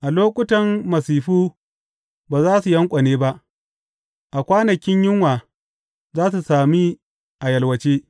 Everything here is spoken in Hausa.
A lokutan masifu ba za su yanƙwane ba; a kwanakin yunwa za su sami a yalwace.